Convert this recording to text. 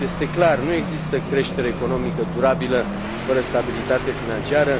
Este deci clar, nu există creștere economică durabilă fără stabilitate financiară.